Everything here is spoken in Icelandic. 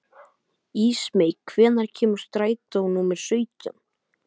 Ísmey, hvenær kemur strætó númer sautján?